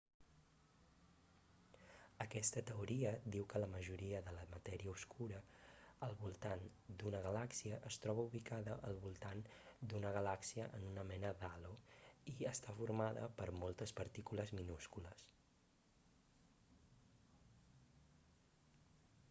aquesta teoria diu que la majoria de la matèria obscura al voltant d'una galàxia es troba ubicada al voltant d'una galàxia en una mena d'halo i està formada per moltes partícules minúscules